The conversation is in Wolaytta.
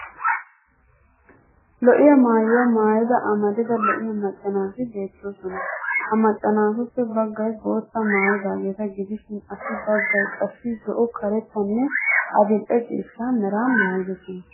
Lo'iya maayuwaa maayida amarida lo'iyaa macca naati beettoosona. Ha macca naatuppe baggay boottaa maayidaageeta gidishin assi baggay qassi zo'o karettanne adil'e ciishsha meraa maayidosona.